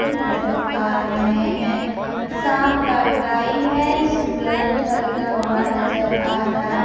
ए नजर आ रहे हैं साम का टाइम है सूरज ढलता हुआ नजर आ रहा --